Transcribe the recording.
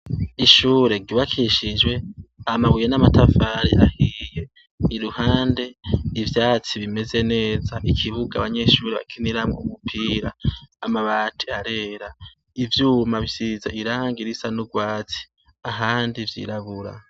Ishure ryukabishijwe amabuye namatafari ahiye iruhande ivyatsi bimeze neza ikibuga abanyeshure bakiniramwo umupira amabati arera ivyuma bisize irangi risa nurwatsi ahandi vyirabura